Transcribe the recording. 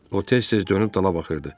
O tez-tez dönüb dala baxırdı.